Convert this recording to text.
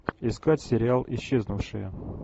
искать сериал исчезнувшие